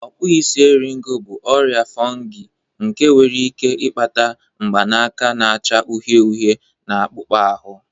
Okpuisi eriego bụ ọrịa fungi nke nwere ike ịkpata mgbanaka na-acha uhie uhie na akpụkpọ ahụ